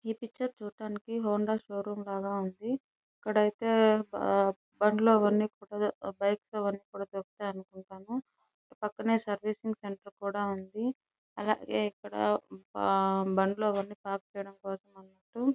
ఈ పిక్చర్ చూడ్డానికి Honda showroom లాగా ఉంది. ఇక్కడ అయితే బండ్లు అవన్నీ బైక్ అవన్నీ దొరుకుతాయన్నమాట పక్కన సర్వీసింగ్ సెంటర్ కూడా ఉంది. ఇక్కడ బండ్లు అవన్నీ పార్క్ చేయడానికి .